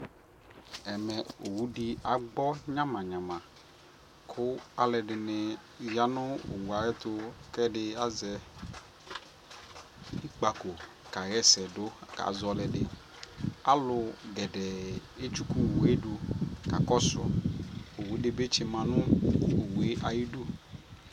ɛmɛ ɔwʋ di agbɔ nyama nyama kʋ alʋɛdini yanʋ ɔwʋɛ ayɛtʋ kʋ ɛdi azɛ ikpakɔ kayɛsɛ dʋ kazɔ ɔlɛdi, alʋ gɛdɛɛ ɛtsʋkʋ ɔwʋɛ dʋ kakɔsʋ, ɔwʋ dibi kyima nʋ ɔwʋɛ ayidʋ